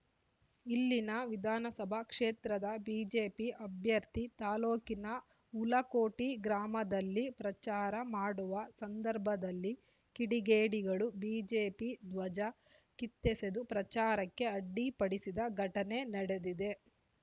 ಇಲ್ಲಿನ ವಿಧಾನಸಭಾ ಕ್ಷೇತ್ರದ ಬಿಜೆಪಿ ಅಭ್ಯರ್ಥಿ ತಾಲೊಕಿನ ಹುಲಕೋಟಿ ಗ್ರಾಮದಲ್ಲಿ ಪ್ರಚಾರ ಮಾಡುವ ಸಂದರ್ಭದಲ್ಲಿ ಕಿಡಿಗೇಡಿಗಳು ಬಿಜೆಪಿ ಧ್ವಜ ಕಿತ್ತೆಸೆದು ಪ್ರಚಾರಕ್ಕೆ ಅಡ್ಡಿ ಪಡಿಸಿದ ಘಟನೆ ನಡೆದಿದೆ